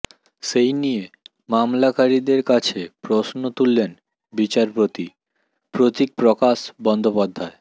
সেই নিয়ে মামলাকারীদের কাছে প্রশ্ন তুললেন বিচারপতি প্রতীকপ্রকাশ বন্দ্যোপাধ্যায়